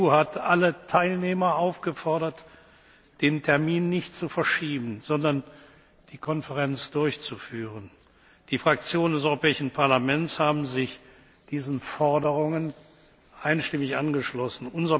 Die EU hat alle Teilnehmer aufgefordert, den Termin nicht zu verschieben, sondern die Konferenz durchzuführen. Die Fraktionen des Europäischen Parlaments haben sich diesen Forderungen einstimmig angeschlossen.